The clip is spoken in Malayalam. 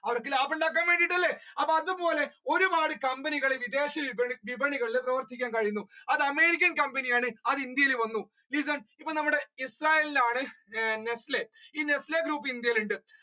അവർക്ക് ലാഭം ഉണ്ടാക്കാൻ വേണ്ടിയല്ലേ അതുപോലെ ഒരുപാട് കമ്പനികൾ വിദേശ വിപണികളിൽ പ്രവർത്തിക്കാൻ കഴിയുന്നു അത് american കമ്പനിയാണ് അത് ഇന്ത്യയിൽ വന്നു listen അപ്പൊ ഇസ്രായേൽ ആണ് nestle ഈ nestle group ഇന്ത്യയിൽ ഉണ്ട്